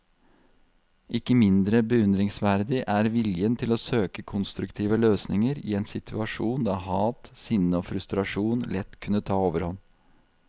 Ikke mindre beundringsverdig er viljen til å søke konstruktive løsninger i en situasjon der hat, sinne og frustrasjon lett kunne ta overhånd.